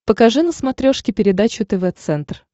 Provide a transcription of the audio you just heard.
покажи на смотрешке передачу тв центр